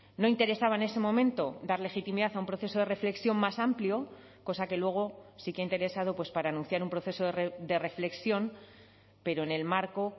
no interesaba en ese momento dar legitimidad a un proceso de reflexión más amplio cosa que luego sí que ha interesado para anunciar un proceso de reflexión pero en el marco